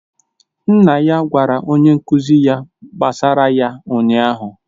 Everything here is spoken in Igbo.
Nna ya gwara onye nkụzi ya gbasara ya ụnyahụ